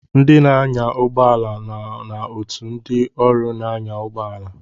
Ndị na-anya ụgbọ ala so na otù ndị ọrụ na-anya ụgbọala.